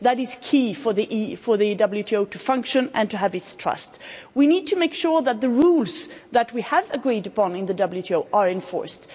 That is key for the WTO to function and to have its trust. We need to make sure that the rules that we have agreed upon in the WTO are enforced.